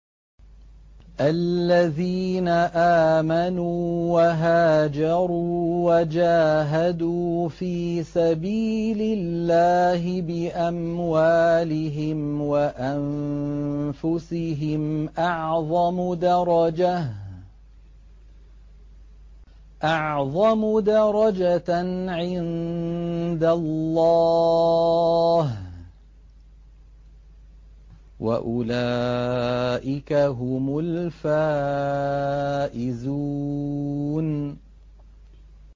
الَّذِينَ آمَنُوا وَهَاجَرُوا وَجَاهَدُوا فِي سَبِيلِ اللَّهِ بِأَمْوَالِهِمْ وَأَنفُسِهِمْ أَعْظَمُ دَرَجَةً عِندَ اللَّهِ ۚ وَأُولَٰئِكَ هُمُ الْفَائِزُونَ